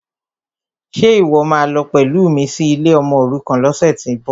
Ṣe ìwọ́ máa lọ pẹ̀lú mi sí ilé ọmọòrukàn lọ́sẹ̀tíbọ̀?